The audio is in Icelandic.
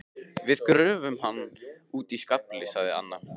Við gröfum hann úti í skafli sagði Anna.